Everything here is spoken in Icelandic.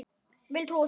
Vil trúa því.